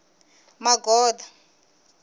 magoda